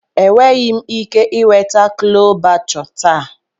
Enweghị m ike ị nweta Chole Bhatuu taa.